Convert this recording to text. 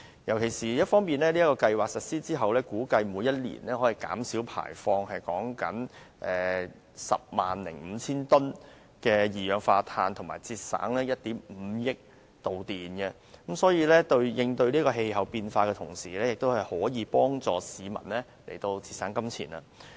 在強制性標籤計劃實施後，估計每年可以減少排放 105,000 公噸的二氧化碳，以及節省1億 5,000 萬度電，因此，這計劃除了有利減少對氣候變化影響的同時，亦可幫市民節省金錢。